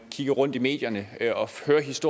kigger rundt i medierne